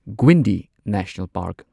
Guindy national park